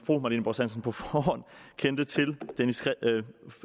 fru marlene borst hansen på forhånd kendte til